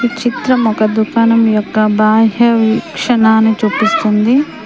చిత్రం ఒక దుకాణం యొక్క బాహ్య క్షణాన్ని చూపిస్తుంది.